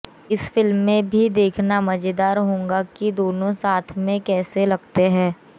इस फिल्म में भी देखना मजेदार होगा कि दोनों साथ में कैसे लगते हैं